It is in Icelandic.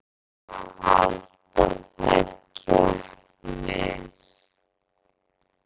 Hverjir fá að halda þær keppnir?